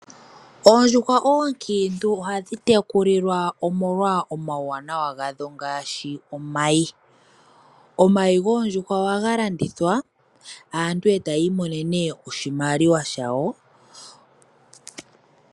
Oondjuhwa oonkiintu ohadhi tekulilwa molwa omawuwanawa gadho ngaashi omayi . Omayi goondjuhwa ohaga landithwa aantu etayi imonene oshimaliwa shawo